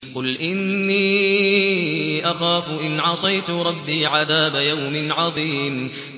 قُلْ إِنِّي أَخَافُ إِنْ عَصَيْتُ رَبِّي عَذَابَ يَوْمٍ عَظِيمٍ